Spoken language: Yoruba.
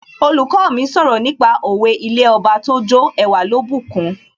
Olùkọ́ mi sọ̀rọ̀ nípa òwe 'ilé Ọba tójó ẹwà ló bùkun'